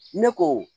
Ne ko